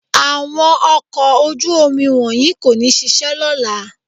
Àwọn ọkọ̀ ojú-omi wọ̀nyí kò ní ṣiṣẹ́ lọ́la